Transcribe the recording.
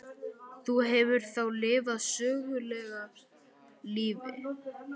Þú hefur þá lifað sögulegu lífi?